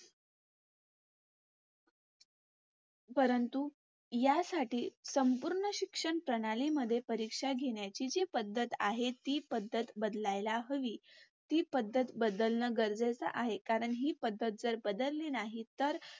परंतु यासाठी संपूर्ण शिक्षण प्रणाली मध्ये परीक्षा घेण्याची जी पद्धत आहे ती पद्धत बदलायला हवी. ती पद्धत बदलणे गरजेचे आहे कारण हि पद्धत बदलली नाही तर